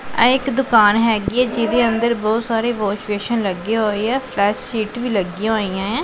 ਆ ਇੱਕ ਦੁਕਾਨ ਹੈਗੀ ਐ ਜਿਹਦੇ ਅੰਦਰ ਬਹੁਤ ਸਾਰੇ ਵਾਸ਼ ਵੇਸ਼ਨ ਲੱਗੇ ਹੋਏ ਆ ਫਲਸ਼ ਸੀਟ ਵੀ ਲੱਗੀਆਂ ਹੋਈਆਂ ਐ।